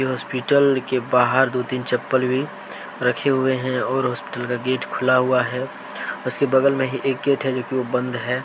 Hospital के बाहर दो तीन चप्पल भी रखे हुए है। और हॉस्पिटल का गेट खुला हुआ है। उसके बगल में ही एक गेट है जो की वो बंद है।